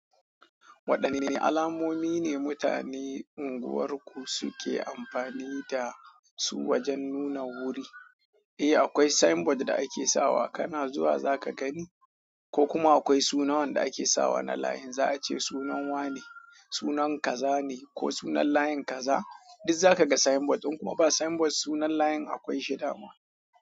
Waɗanne alamomi ne mutane unguwarku suke amfani da su wajen nuna wuri? Eh akwai Signboard da ake sawa kana zuwa za kagani ko kuma akwai suna wanda ake sawa wanan line zaci sunan wa ne sunan kaza ne ko sunan line kaza. Duk zaka ga sign board in kuma ba sign board sunan layin akwai shida ma.